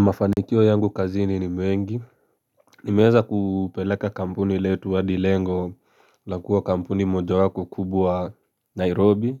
Mafanikio yangu kazini ni mengi Nimeeza kupeleka kampuni letu adi lengo la kuwa kampuni mojawapo kubwa Nairobi